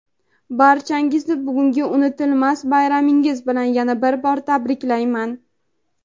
barchangizni bugungi unutilmas bayramingiz bilan yana bir bor tabriklayman.